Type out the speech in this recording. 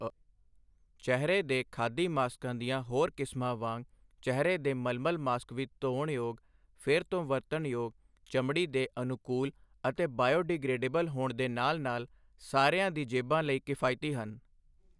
ਚਿਹਰੇ ਦੇ ਖਾਦੀ ਮਾਸਕਾਂ ਦੀਆਂ ਹੋਰ ਕਿਸਮਾਂ ਵਾਂਗ ਚਿਹਰੇ ਦੇ ਮਲਮਲ ਮਾਸਕ ਵੀ ਧੋਣ ਯੋਗ, ਫਿਰ ਤੋਂ ਵਰਤਣ ਯੋਗ, ਚਮੜੀ ਦੇ ਅਨੁਕੂਲਅਤੇ ਬਾਇਓ ਡੀ ਗ੍ਰੇਡੇਬਲ ਹੋਣ ਦੇ ਨਾਲ ਨਾਲ ਸਾਰਿਆਂ ਦੀ ਜੇਬਾਂ ਲਈ ਕਫਾਇਤੀ ਹਨ।